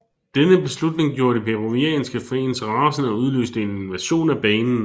Denne beslutning gjorde de peruvianske fans rasende og udløste en invasion af banen